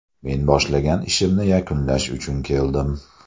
Men boshlagan ishimni yakunlash uchun keldim.